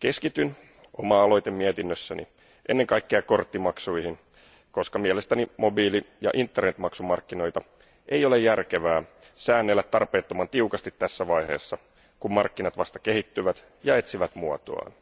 Keskityn oma aloitemietinnössäni ennen kaikkea korttimaksuihin, koska mielestäni mobiili ja Internet maksumarkkinoita ei ole järkevää säännellä tarpeettoman tiukasti tässä vaiheessa, kun markkinat vasta kehittyvät ja etsivät muotoaan,